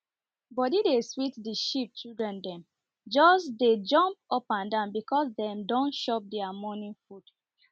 body dey sweet the sheep children dem just dey jump up and down because dem don shop their morning food